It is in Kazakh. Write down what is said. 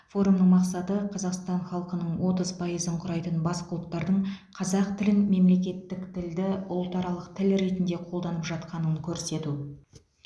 форумның мақсаты қазақстан халқының отыз пайызын құрайтын басқа ұлттардың қазақ тілін мемлекеттік тілді ұлтаралық тіл ретінде қолданып жатқанын көрсету